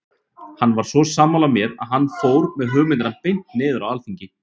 Hann var svo sammála mér að hann fór með hugmyndina beint niður á alþingi.